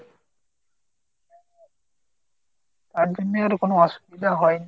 তার জন্য আর কোনো অসুবিধা হয়নি।